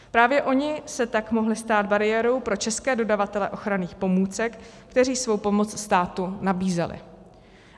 Právě oni se tak mohli stát bariérou pro české dodavatele ochranných pomůcek, kteří svou pomoc státu nabízeli.